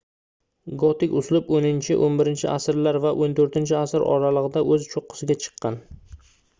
gotik uslub 10–11-asrlar va 14-asr oralig'ida o'z cho'qqisiga chiqqan